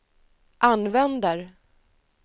använder